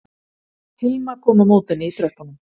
Hilma kom á móti henni í tröppunum